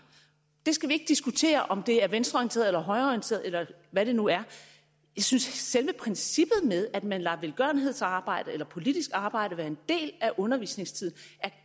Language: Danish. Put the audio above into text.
vi skal ikke diskutere om det er venstreorienterede eller højreorienterede eller hvad det nu er jeg synes at selve princippet med at man lader velgørenhedsarbejde eller politisk arbejde være en del af undervisningstiden